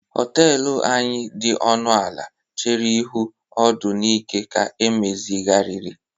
họtelu anyị dị ọnụ ala chere ihu ọdọ Nike ka emezigharịrị